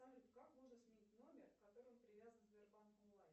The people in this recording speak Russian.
как можно сменить номер к которому привязан сбербанк онлайн